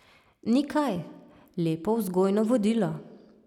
Ni kaj, lepo vzgojno vodilo.